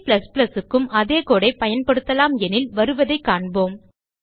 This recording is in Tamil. Cக்கும் அதே கோடு ஐ பயன்படுத்தலாம் எனில் வருவதைக் காண்போம்